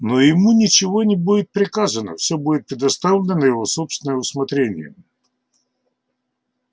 но ему ничего не будет приказано всё будет предоставлено на его собственное усмотрение